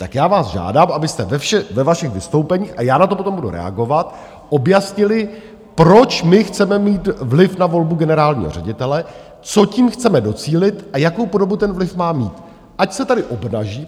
Tak já vás žádám, abyste ve vašich vystoupeních - a já na to potom budu reagovat - objasnili, proč my chceme mít vliv na volbu generálního ředitele, čeho tím chceme docílit a jakou podobu ten vliv má mít, ať se tady obnaží.